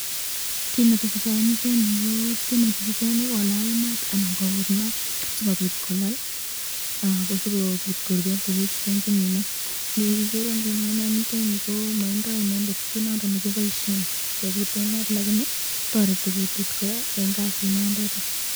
Kit netesetai eng yutenyu ko tyeme chichiteni kolal maat anan kokut maat sikopot kolal ,sikopit koruryo tukuchutenchu mi maa, igere ingunon eng yuten yu maindo inendet kit nondon nekiboisyen kekuten maat, lakini toreti kutit koraa eng kasit niteta.